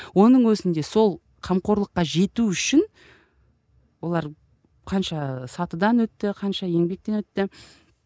оның өзінде сол қамқорлыққа жету үшін олар қанша сатыдан өтті қанша еңбектен өтті